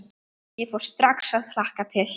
Ég fór strax að hlakka til.